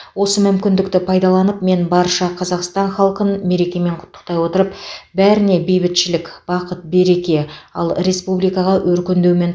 осы мүмкіндікті пайдаланып мен барша қазақстан халқын мерекемен құттықтай отырып бәріне бейбітшілік бақыт береке ал республикаға өркендеу мен